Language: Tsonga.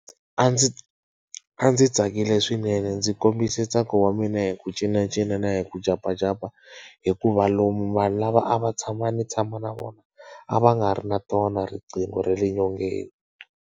A ndzi a ndzi tsakile swinene ndzi kombisa ntsako wa mina hi ku cinacina na hi ku jampajampa. Hikuva lomu vanhu lava a va tshama ndzi tshama na vona, a va nga ri na tona riqingho ra le nyongeni.